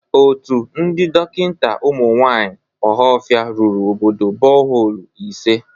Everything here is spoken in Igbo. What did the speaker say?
Otu ndị dọkịnta ụmụ nwaanyị ọhafịa rụrụ obodo bọholu ise.